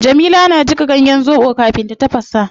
Jamila na jika ganyen zobo kafin ta tafasa